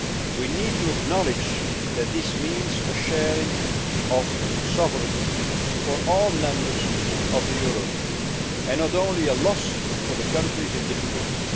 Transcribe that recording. We need to acknowledge that this means a sharing of sovereignty for all members of the eurozone, and not only a loss for the countries in difficulty.